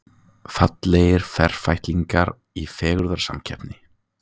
Fallegir ferfætlingar í fegurðarsamkeppni